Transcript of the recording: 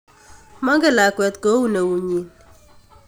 Mogen lakwet koun neutnyin.